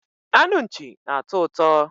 anụ Nchi na-atọ ụtọ